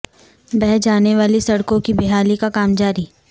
بہہ جانے والی سڑکوں کی بحالی کا کام جاری